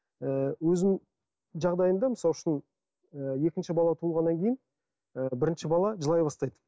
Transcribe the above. ыыы өзімнің жағдайымда мысал үшін ы екінші бала туылғаннан кейін ы бірінші бала жылай бастайды